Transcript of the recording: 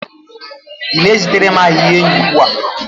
Ị na-ezitere m arịrịọ enyi ugbu a?